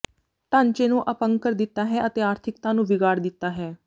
ਾਂਚੇ ਨੂੰ ਅਪੰਗ ਕਰ ਦਿੱਤਾ ਹੈ ਅਤੇ ਆਰਥਿਕਤਾ ਨੂੰ ਵਿਗਾੜ ਦਿੱਤਾ ਹੈ